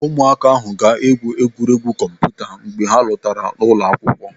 Ụmụaka ahụ ga-egwu egwuregwu kọmputa mgbe ha lọtara ụlọ akwụkwọ.